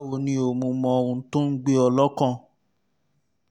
báwo ni o? mo mọ ohun tó ń gbé ọ lọ́kàn